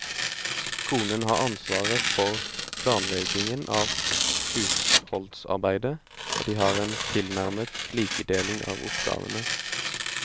Konen har ansvaret for planleggingen av husholdsarbeidet, og de har en tilnærmet likedeling av oppgavene.